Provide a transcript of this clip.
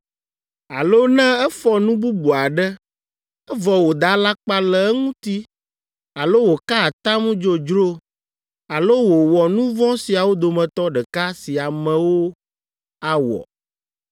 alo ne efɔ nu bubu aɖe, evɔ wòda alakpa le eŋuti alo wòka atam dzodzro alo wòwɔ nu vɔ̃ siawo dometɔ ɖeka si amewo awɔ,